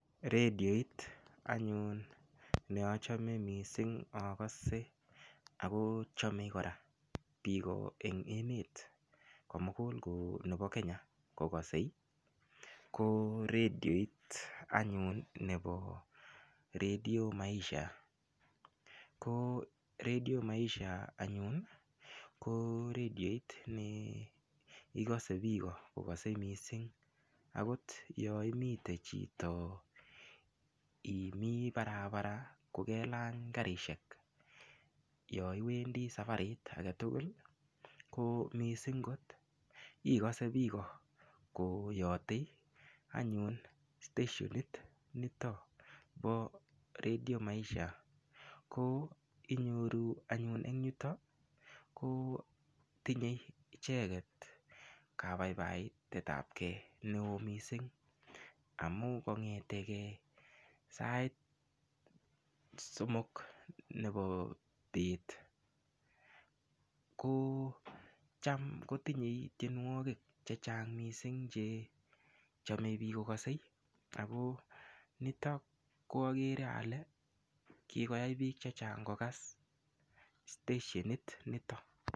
Rediot anyun neachome missing akose akoo chomee kora biik koo en emet komugul koo nebo kenya kokase koo rediot anyun ne bo Redio Maisha, koo Radio maisha anyun koo rediot nee ikosee biik kokose missing akot yoimiten chito imii barabara kokelany karisiek yoiwendi sabarit agetugul koo missing kot ikose biik ko koyote anyun stesienit nitoo bo Redio Maisha koo inyoru anyun eng yutoo koo tinye icheket kabaibaitetapge neo missing amun kong'eteke sait somok neboo bet koo cham kotinyei tienwogik che chang missing che chome biik kokase akoo niton ko akere alee kikoyai biik chechang kokas stesienit nito .